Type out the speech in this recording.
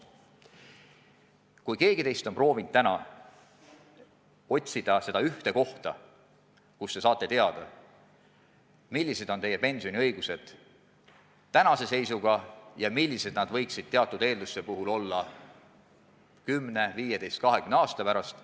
Vahest keegi teist on proovinud otsida seda ühte kohta, kust te saate teada, millised on teie pensioniõigused tänase seisuga ja millised need võiksid teatud eelduste puhul olla 10, 15, 20 aasta pärast.